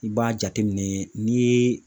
I b'a jateminɛ ni